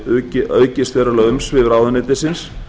hafi aukist verulega umsvif ráðuneytisins